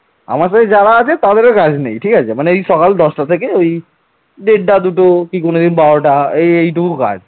আমার সাথে যারা আছে তাদেরও কাজ নেই ঠিক আছে মনে হয় সকাল দশটা থেকে ওই ডেটটা দুটো কি কোনদিন বারোটা এইটুকু কাজ